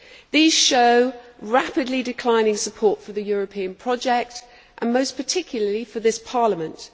These show rapidly declining support for the European project, and most particularly for this Parliament.